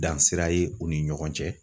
Dan sira ye u ni ɲɔgɔn cɛ.